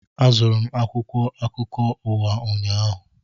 Azụtara m akwụkwọ akụkọ ụwa ụnyaahụ